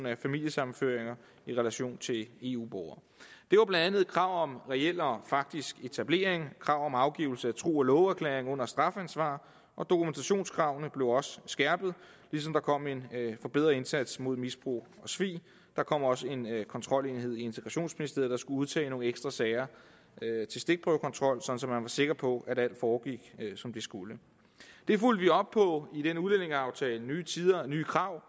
af familiesammenføringer i relation til eu borgere det var blandt andet et krav om reel og faktisk etablering krav om afgivelse af tro og love erklæring under strafansvar og dokumentationskravene blev også skærpet ligesom der kom en forbedret indsats mod misbrug og svig der kom også en kontrolenhed i integrationsministeriet der skulle udtage nogle ekstra sager til stikprøvekontrol sådan at man var sikker på at alt foregik som det skulle det fulgte vi op på i den udlændingeaftale nye tider nye krav